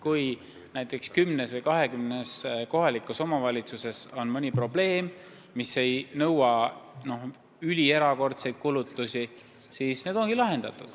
Kui kümnes või kahekümnes omavalitsuses on mõni probleem, mille lahendamine ei nõua erakordseid kulutusi, siis see saab lahendatud.